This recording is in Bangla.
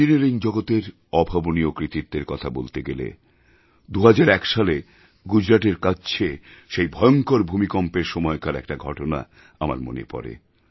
ইঞ্জিনিয়ারিং জগতের অভাবনীয় কৃতিত্বের কথা বলতে গেলে 2001 সালে গুজরাটের কচ্ছের সেই ভয়ঙ্কর ভূমিকম্পের সময়কার একটা ঘটনা আমার মনে পড়ে